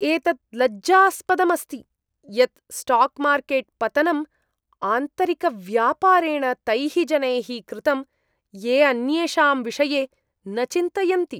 एतत् लज्जास्पदम् अस्ति यत् स्टाक् मार्केट् पतनं आन्तरिकव्यापारेण तैः जनैः कृतं ये अन्येषां विषये न चिन्तयन्ति।